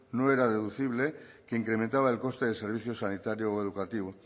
no era deducible que incrementaba el coste del servicio sanitario o educativo